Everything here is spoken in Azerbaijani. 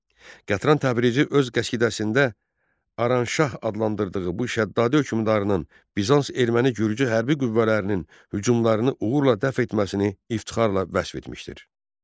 Qətram Təbrizi öz qəsidəsində Aranşah adlandırdığı bu Şəddaddi hökmdarının Bizans Erməni Gürcü hərbi qüvvələrinin hücumlarını uğurla dəf etməsini iftixarla vəsf etmişdir.